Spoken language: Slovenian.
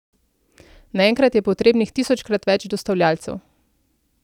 Naenkrat je potrebnih tisočkrat več dostavljavcev.